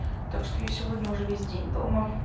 так что я сегодня уже весь день дома